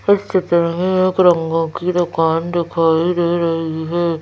इस चित्र में एक रंगों की दुकान दिखाई दे रही है।